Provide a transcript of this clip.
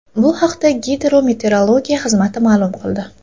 Bu haqda Gidrometeorologiya xizmati ma’lum qildi .